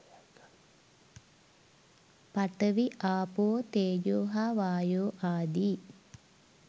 පඨවි ආපෝ තේජෝ හා වායෝ ආදී